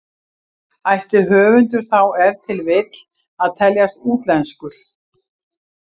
Ætti höfundur þá ef til vill að teljast útlenskur?